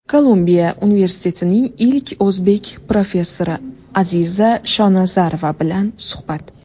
Kolumbiya universitetining ilk o‘zbek professori Aziza Shonazarova bilan suhbat.